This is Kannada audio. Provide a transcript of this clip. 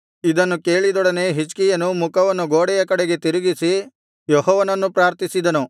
ಇದನ್ನು ಕೇಳಿದೊಡನೆ ಹಿಜ್ಕೀಯನು ಮುಖವನ್ನು ಗೋಡೆಯ ಕಡೆಗೆ ತಿರುಗಿಸಿ ಯೆಹೋವನನ್ನು ಪ್ರಾರ್ಥಿಸಿದನು